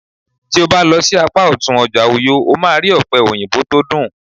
ti o ba lo sí apá òtún ọjà uyo, o ma ri òpe oyinbo to dun